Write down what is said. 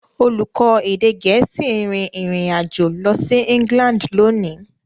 Olùkọ́ èdè Gẹ̀ẹ́sì ń rin ìrìn àjò lọ sí England lónìí.